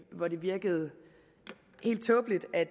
hvor det virkede helt tåbeligt at